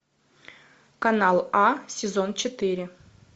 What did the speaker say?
канал а сезон четыре